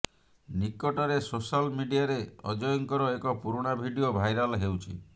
ନିକଟରେ ସୋଶାଲ୍ ମିଡିଆରେ ଅଜୟଙ୍କର ଏକ ପୁରୁଣା ଭିଡ଼ିଓ ଭାଇରାଲ୍ ହେଉଛି